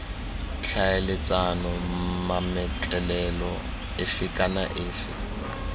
tlhaeletsana mametlelelo efe kana efe